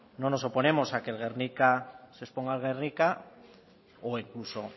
no nos oponemos a que el guernica se exponga en gernika o a que incluso